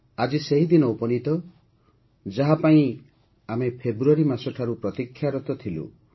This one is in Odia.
ଆଜି ସେହି ଦିନ ଉପନୀତ ଯାହା ପାଇଁ ଆମେ ଫେବୃଆରୀ ମାସ ଠାରୁ ପ୍ରତୀକ୍ଷାରତ ଥିଲୁ